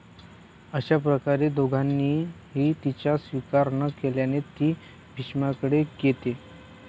अश्याप्रकारे दोघांनीही तिचा स्वीकार न केल्याने ती भीष्माकडे येते.